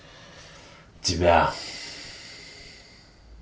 тебя